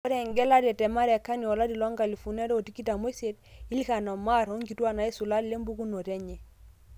Ore engelare te Marekani olari le nkalisuni are otikitam oisiet :Ilhan Omar onkitwak naisula lempukunoto enye.